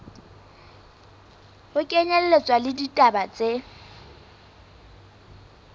ho kenyelletswa le ditaba tse